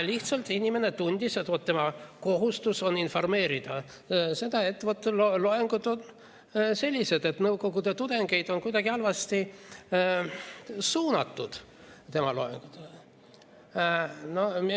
Lihtsalt inimene tundis, et tema kohustus on informeerida, et loengud on sellised, et nõukogude tudengeid on kuidagi halvasti suunatud tema loengutel.